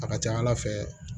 A ka ca ala fɛ